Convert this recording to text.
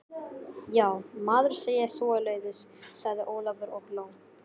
Má maður segja svoleiðis? sagði Ólafur og hló.